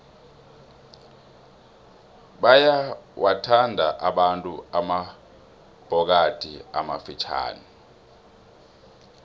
bayawathanda abantu amabhokadi amafitjhani